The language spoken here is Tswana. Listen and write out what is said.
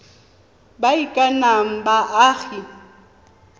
ba e ka nnang baagi